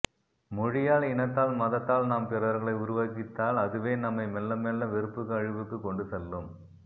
மொழியால் இனத்தால் மதத்தால் நாம் பிறர்களை உருவகித்தால் அதுவே நம்மை மெல்லமெல்ல வெறுப்புக்கு அழிவுக்குக் கொண்டுசெல்லும்